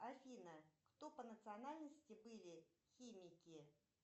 афина кто по национальности были химики